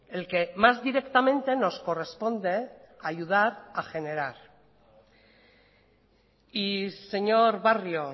el que más directamente nos corresponde ayudar a generar y señor barrio